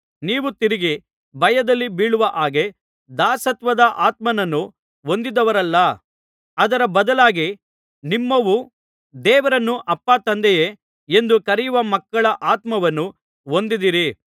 ನೀವು ತಿರುಗಿ ಭಯದಲ್ಲಿ ಬೀಳುವ ಹಾಗೆ ದಾಸತ್ವದ ಆತ್ಮನನ್ನು ಹೊಂದಿದವರಲ್ಲ ಅದರ ಬದಲಾಗಿ ನಿಮ್ಮವು ದೇವರನ್ನು ಅಪ್ಪಾ ತಂದೆಯೇ ಎಂದು ಕರೆಯುವ ಮಕ್ಕಳ ಆತ್ಮವನ್ನು ಹೊಂದಿದ್ದೀರಿ